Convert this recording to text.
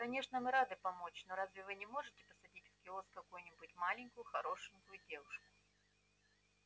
конечно мы рады помочь но разве вы не можете посадить в киоск какую-нибудь молоденькую хорошенькую девушку